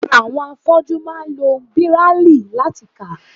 Àwọn afọ́jú máa ń lo Bíráílì láti kà.